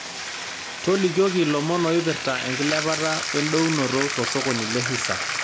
tolikioki ilomon oipirta enkilepata oendounoto tosokoni le hisa